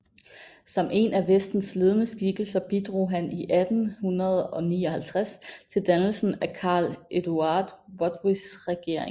Som en af Venstres ledende skikkelser bidrog han i 1859 til dannelsen af Carl Eduard Rotwitts regering